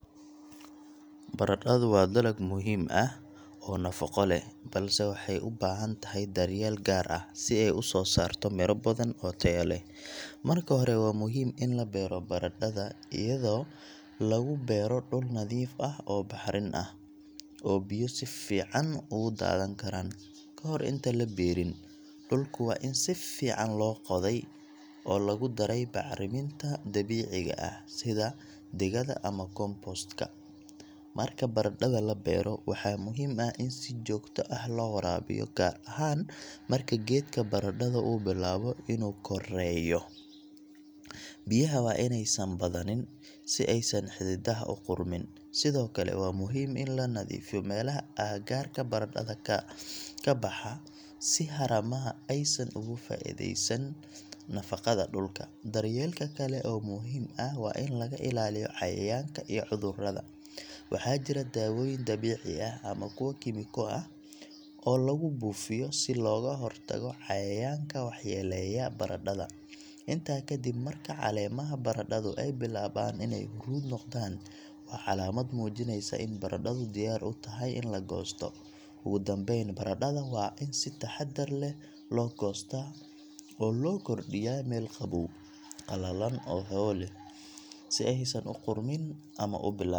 Baradhadu waa dalag muhiim ah oo nafaqo leh, balse waxay u baahan tahay daryeel gaar ah si ay u soo saarto miro badan oo tayo leh. Marka hore, waa muhiim in la beero baradhada iyadoo lagu beero dhul nadiif ah oo bacrin ah, oo biyo si fiican uga daadan karaan. Kahor inta la beerin, dhulku waa in si fiican loo qoday oo lagu daray bacriminta dabiiciga ah sida digada ama compost ka. Marka baradhada la beero, waxaa muhiim ah in si joogto ah loo waraabiyo, gaar ahaan marka geedka baradhada uu bilaabo inuu koreeyo. Biyaha waa inaysan badanin si aysan xididaha u qudhmin. Sidoo kale, waa muhiim in la nadiifiyo meelaha agagaarka baradhada ka baxa si haramaha aysan uga faa’iidaysan nafaqada dhulka. Daryeelka kale oo muhiim ah waa in laga ilaaliyo cayayaanka iyo cudurrada. Waxaa jira dawooyin dabiici ah ama kuwo kiimiko ah oo lagu buufiyo si looga hortago cayayaanka waxyeelleeya baradhada. Intaa kadib, marka caleemaha baradhadu ay bilaabaan inay huruud noqdaan, waa calaamad muujinaysa in baradhadu diyaar u tahay in la goosto. Ugu dambayn, baradhada waa in si taxaddar leh loo goostaa oo loo kordhiyaa meel qabow, qalalan oo hawo leh si aysan u qudhmin ama u bilaabin.